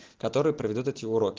который проведёт эти уроки